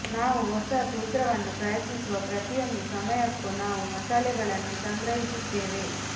ನಾವು ಹೊಸ ಸೂತ್ರವನ್ನು ಪ್ರಯತ್ನಿಸುವ ಪ್ರತಿಯೊಂದು ಸಮಯಕ್ಕೂ ನಾವು ಮಸಾಲೆಗಳನ್ನು ಸಂಗ್ರಹಿಸುತ್ತೇವೆ